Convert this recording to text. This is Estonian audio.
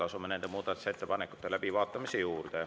Asume nende muudatusettepanekute läbivaatamise juurde.